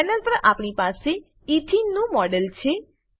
panel પર આપણી પાસે એથેને ઇથીન નું મોડેલ છે